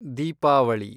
Deepavali